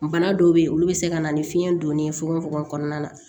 Bana dɔw be ye olu be se ka na ni fiɲɛ donnen ye fogofogo kɔnɔna na